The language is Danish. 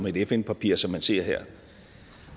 et fn papir som man ser her